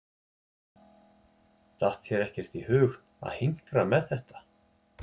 Datt þér ekkert í hug að hinkra með þetta?